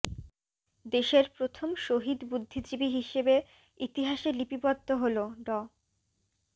দেশের প্রথম শহীদ বুদ্ধিজীবী হিসেবে ইতিহাসে লিপিবদ্ধ হলো ড